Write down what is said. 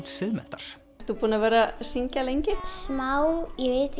Siðmenntar ert þú búin að vera að syngja lengi já smá